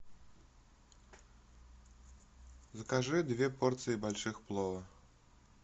закажи две порции больших плова